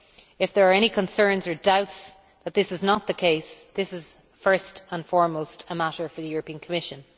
If there are any concerns or doubts that this is not the case, this is first and foremost a matter for the Commission.